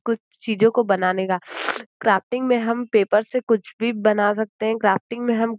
कुछ चीजों को बनाने का क्राफ्टिंग में हम पेपर से कुछ भी बना सकते हैं क्राफ्टिंग में हम --